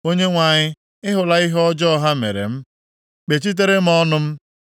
Onyenwe anyị, ị hụla ihe ọjọọ ha mere m. Kpechitere m ọnụ m.